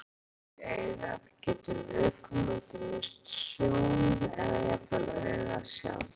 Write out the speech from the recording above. Ef sýking kemst í augað getur viðkomandi misst sjón, eða jafnvel augað sjálft.